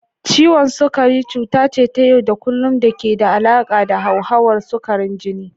Ciwon sukari cuta ce ta yau da kullun da ke da alaƙa da hauhawar sukarin jini.